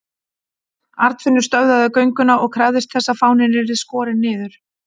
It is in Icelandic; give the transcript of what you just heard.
Arnfinnur stöðvaði gönguna og krafðist þess að fáninn yrði skorinn niður.